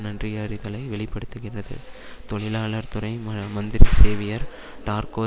நன்றியறிதலை வெளி படுத்துகிறது தொழிலாளர் துறை ம மந்திரி சேவியர் டார்க்கோ